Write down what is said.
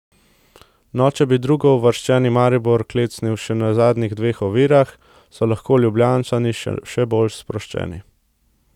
No, če bi drugouvrščeni Maribor klecnil še na zadnjih dveh ovirah, so lahko Ljubljančani še bolj sproščeni.